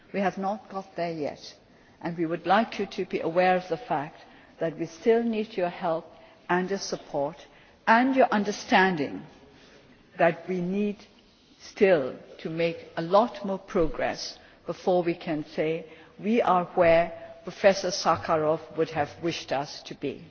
We have not got there yet, and we would like you to be aware of the fact that we still need your help and support, and your understanding that we still need to make a lot more progress before we can say we are where Professor Sakharov would have wished